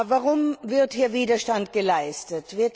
Warum wird hier Widerstand geleistet?